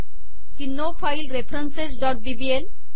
की no file referencesबीबीएल